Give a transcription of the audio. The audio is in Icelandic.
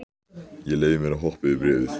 Ég leyfi mér að hoppa yfir í bréfið.